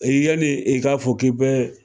yanni e k'a fɔ k'i bɛ